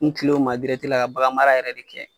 N kilen o ma dirɛti la ka bagan mara yɛrɛ de kɛ